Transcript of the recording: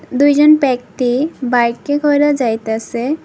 দুইজন ব্যক্তি বাইকে করে যাইতেসে।